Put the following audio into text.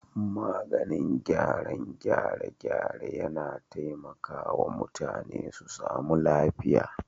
Maganin gyaran gyare-gyare yAna taimaka wa mutane su samu lafiya